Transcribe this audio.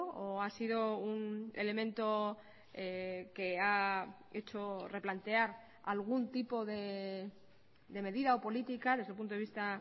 o ha sido un elemento que ha hecho replantear algún tipo de medida o política desde el punto de vista